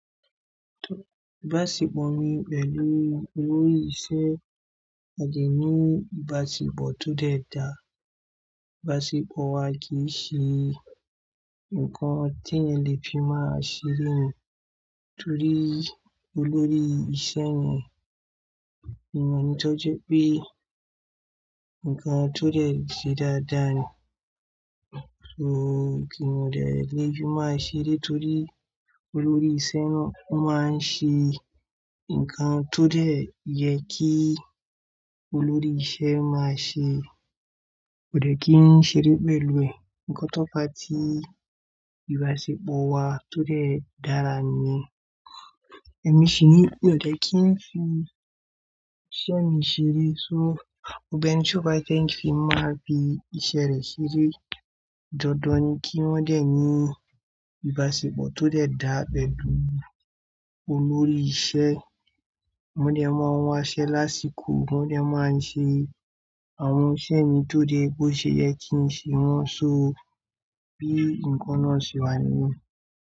Ìbáṣepọ̀ mi pẹ̀lú olórí iṣẹ́, a lè ní ìbáṣepọ̀ tó dẹ̀ dá. Ìbáṣepọ̀ wa kì í ṣe nǹkan tí ẹni lè fi máa ṣeré torí olórí iṣẹ́ ni èèyàn tó jẹ́ pé nǹkan tó dẹ̀ ṣe dáadáa ni. So ko dẹ̀ lè ki n máa ṣeré torí olórí iṣẹ́ náà máa ń ṣe nǹkan tó dẹ̀ yẹ kí olórí iṣẹ́ máa ṣe. Kò dẹ́ kí n ṣeré pẹ̀lú ẹ̀. Ǹkan tó fà tí ìbáṣepọ̀ wa tó dẹ̀ dára níyẹ̀n Ẹ̀mí sì ní pé kò dẹ́ kí n fi iṣẹ́ mi ṣeré. So gbogbo ẹ̀ni tí ó bá fẹ́ kí n fi máa bi iṣẹ́ rẹ̀ ṣeré. Dandan ni kí wọ́n dẹ̀ ní ìbáṣepọ̀ tó dẹ̀ dáa pẹ̀lú olórí iṣẹ́. Wọ́n dẹ̀ máa wọn aṣẹ lásìkò, wọ́n dẹ̀ máa ń ṣe àwọn iṣẹ́ mi tó dẹ̀ bó ṣe yẹ kí n ṣe wọ́n. So bí ǹkan náà ṣe wà nìyẹn.